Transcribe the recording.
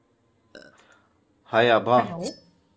हाय आभा